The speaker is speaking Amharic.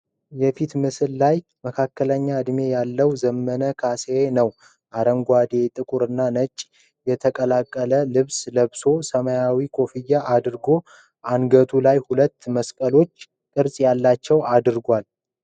የፊት ምስል ላይ መካከለኛ እድሜ ያለው ዘመነ ካሳዬ ነው። አረንጓዴ፣ ጥቁርና ነጭ የተቀላቀለ ልብስ ለብሶ፣ ሰማያዊ ኮፍያ አድርጓል። አንገቱ ላይ ሁለት መስቀል ቅርጽ ያላቸው አድርጓል፡፡